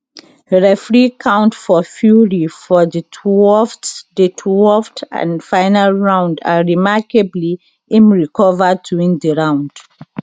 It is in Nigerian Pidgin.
referee count for fury for di 12th di 12th and final round and remarkably im recova to win di round